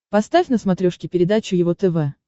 поставь на смотрешке передачу его тв